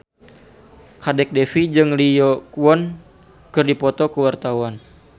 Kadek Devi jeung Lee Yo Won keur dipoto ku wartawan